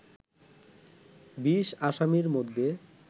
২০ আসামির মধ্যে